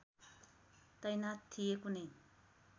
तैनाथ थिए कुनै